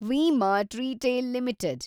V-Mart retail limited